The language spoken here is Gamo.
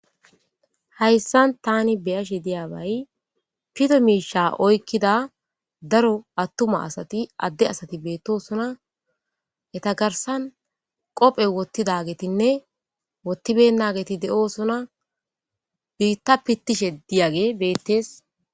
Hayssan tani beyashe diyabay pito miishsha oykida atumma asatii woykko adde asati bettossonna etta garssan qooppe wottidagetinne wottibenagetti de'ossonna biitta pittishe diyagey bettes